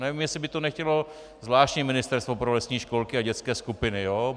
Nevím, jestli by to nechtělo zvláštní ministerstvo pro lesní školky a dětské skupiny.